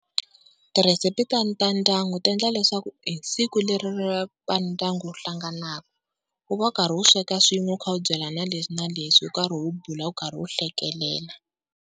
Tirhesipi ta ta ndyangu ti endla leswaku hi siku leri ra vandyangu wu hlanganaka wu va wu karhi wu sweka swin'we wu kha wu byelana leswi na leswi wu karhi wu bula wu karhi wu hlekelela.